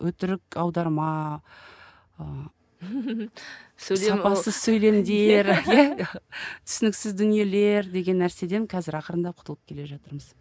өтірік аударма ы түсініксіз дүниелер деген нәрседен қазір ақырындап құтылып келе жатырмыз